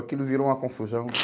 Aquilo virou uma confusão